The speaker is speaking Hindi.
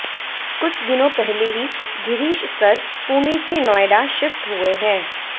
कुछ दिनों पहले ही गिरीश सर पुणे से नोएडा शिफ्ट हुए हैं